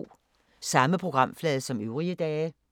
Samme programflade som øvrige dage